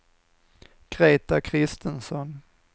Greta Christensson